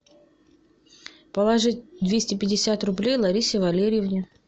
положить двести пятьдесят рублей ларисе валерьевне